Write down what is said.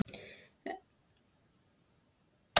Hún snýr sér að mér og tekur um axlir mínar og herðar.